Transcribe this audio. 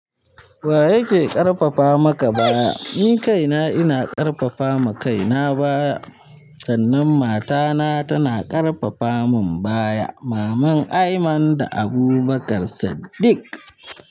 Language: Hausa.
Wa yake ƙarfafa maka baya? Ni kaina ina ƙarfafa ma kaina baya, sannan matana tana ƙarfafa mun baya. Maman Aiman da Abubakar Saddik.